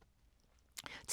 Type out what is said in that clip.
TV 2